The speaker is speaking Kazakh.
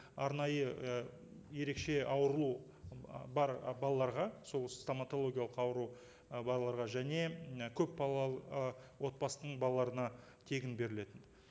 арнайы і ерекше ауруы бар балаларға сол стоматологиялық ауру і балаларға және і көпбалалы ы отбасының балаларына тегін беріледі